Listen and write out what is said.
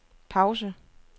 pause